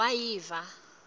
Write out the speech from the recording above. wayiva